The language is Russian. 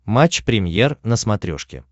матч премьер на смотрешке